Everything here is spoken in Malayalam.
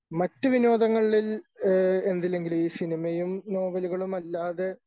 മറ്റു വിനോദങ്ങളിൽ ഏഹ് എന്തെങ്കിലും ഈ സിനിമയും നോവലുകളും അല്ലാതെ